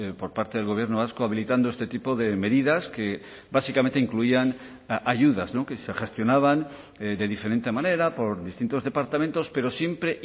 por parte del gobierno vasco habilitando este tipo de medidas que básicamente incluían ayudas que se gestionaban de diferente manera por distintos departamentos pero siempre